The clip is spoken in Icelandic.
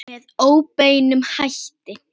Með óbeinum hætti.